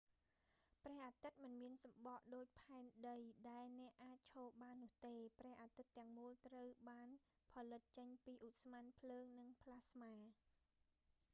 ព្រះអាទិត្យមិនមានសំបកដូច ផែនដី ដែលអ្នកអាចឈរបាននោះទេ ព្រះអាទិត្យទាំងមូល ត្រូវបានផលិតចេញពីឧស្ម័ន ភ្លើង និងប្លាស្មា